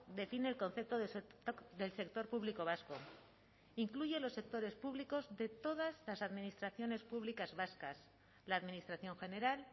define el concepto del sector público vasco incluye los sectores públicos de todas las administraciones públicas vascas la administración general